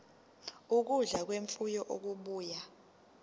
ukudla kwemfuyo okubuya